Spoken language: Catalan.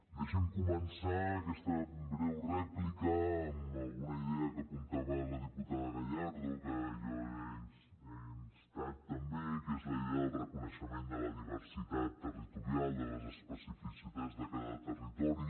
deixi’m començar aquesta breu rèplica amb alguna idea que apuntava la diputada gallardo que jo he instat també que és la idea del reconeixement de la diversitat territorial de les especificitats de cada territori